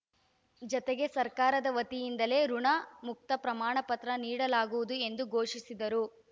ಜತೆಗೆ ಸರ್ಕಾರದ ವತಿಯಿಂದಲೇ ಋುಣಮುಕ್ತ ಪ್ರಮಾಣಪತ್ರ ನೀಡಲಾಗುವುದು ಎಂದು ಘೋಷಿಸಿದರು